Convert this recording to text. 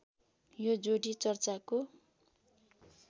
यो जोडी चर्चाको